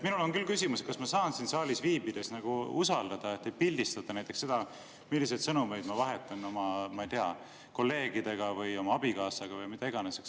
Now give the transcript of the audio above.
Minul on küll küsimus, kas ma saan siin saalis viibides usaldada, et ei pildistata näiteks seda, milliseid sõnumeid ma vahetan, ma ei tea, kolleegidega või oma abikaasaga või kellega iganes.